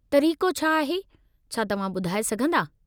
तरीक़ो छा आहे , छा तव्हां ॿुधाऐ सघिन्दा?